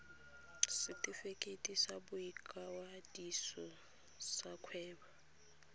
setefikeiti sa boikwadiso sa kgwebo